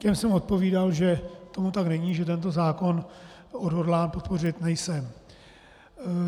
Těm jsem odpovídal, že tomu tak není, že tento zákon odhodlán podpořit nejsem.